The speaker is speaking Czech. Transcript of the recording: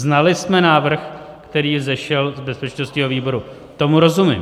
Znali jsme návrh, který vzešel z bezpečnostního výboru, tomu rozumím.